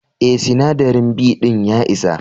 Eh, sinadari B din ya isa.